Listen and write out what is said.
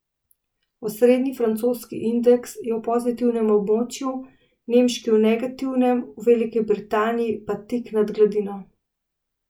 Osrednji francoski indeks je v pozitivnem območju, nemški v negativnem, v Veliki Britaniji pa tik nad gladino.